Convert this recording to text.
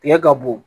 Tigɛ ka bon